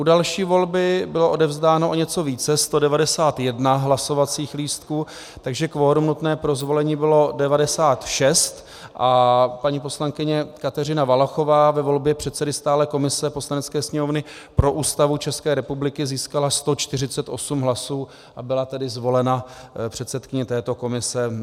U další volby bylo odevzdáno o něco více, 191 hlasovacích lístků, takže kvorum nutné pro zvolení bylo 96 a paní poslankyně Kateřina Valachová ve volbě předsedy stálé komise Poslanecké sněmovny pro Ústavu České republiky získala 148 hlasů a byla tedy zvolena předsedkyní této komise.